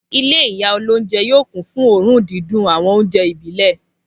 Ilé ìyá olóúnjẹ yóò kún fún òórùn dídùn àwọn oúnjẹ ìbílẹ̀.